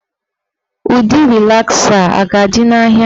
Ụdị rịlasa a ga-adị n'ahịa